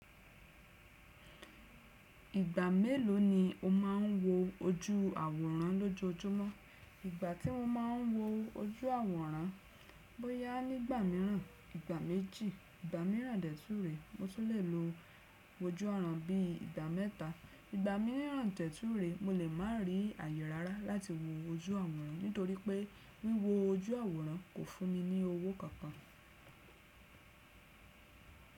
Ìgbà mélòó ni o máa ń wo ojú àwòrán lọ́jojúmọ́? Ìgbà tí mo máa ń wo ojú àwòrán, bóyá nígbà míràn, ìgbà méjì, ìgbà míràn dẹ tù ré mo tún lè lo ojú àwòrán bí ìgbà mẹ́ta. Ìgbà míràn dẹ tù ré mo lè má rí ààyè rárá láti wo ojú àwòrán torí pé wíwo ojú àwòrán kò fún mi ní owó kan kan.